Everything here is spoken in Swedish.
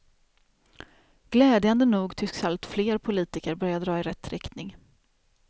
Glädjande nog tycks allt fler politiker börja dra i rätt riktning.